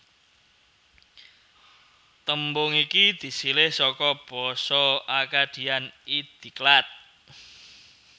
Tembung iki disilih saka basa Akkadian Idiqlat